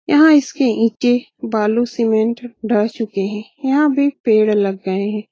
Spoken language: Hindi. यह इसके ईंटे बालू सीमेंट चुके है। यहाँ भी पेड़ लग गए है।